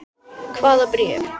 Hvaða bréf?